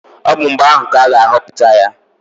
Ọ bụ mgbe ahụ ka a ga-ahọpụta ya.